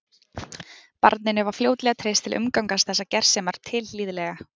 Barninu var fljótlega treyst til að umgangast þessar gersemar tilhlýðilega.